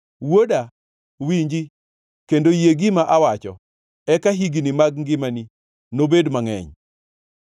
Wuoda, winji kendo yie gima awacho eka higni mag ngimani nobed mangʼeny.